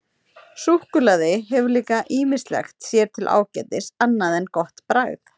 Súkkulaði hefur líka ýmislegt sér til ágætis annað en gott bragð.